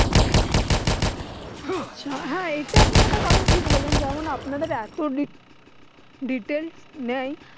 আচ্ছা। হ্যাঁ এটা আপনি একটা কথা ঠিক বলেছেন যেমন আপনাদের এত ডি detail নেয়।